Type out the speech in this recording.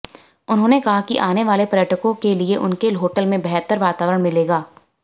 उन्होंने कहा कि आने वाले पर्यटकों के लिये उनके होटल में बंहतर वातावरण मिलेगा